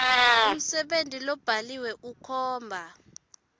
umsebenti lobhaliwe ukhomba